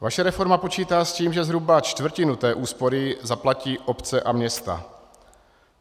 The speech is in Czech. Vaše reforma počítá s tím, že zhruba čtvrtinu té úspory zaplatí obce a města.